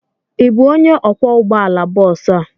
Ị bụ onye ọkwọ ụgbọ ala bọs a?